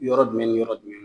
Yɔrɔ jumɛn ni yɔrɔ jumɛn